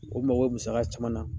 O mago bi musaka caman na